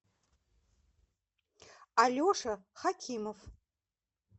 алеша хакимов